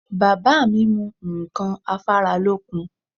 Bàbá mi mu ǹkan afáralókun